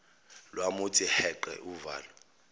lwamuthi heqe uvalo